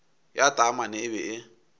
ya taamane e be e